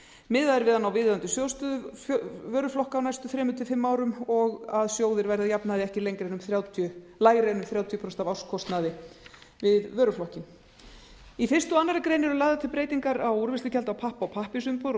miðað er við að ná viðeigandi sjóðsstöðu vöruflokka á næstu þrjú til fimm árum og að sjóðir verði að jafnaði ekki lægri en þrjátíu prósent af árskostnaði við vöruflokkinn í fyrsta og aðra grein eru lagðar til breytingar á úrvinnslugjaldi á pappa og pappírsumbúðir og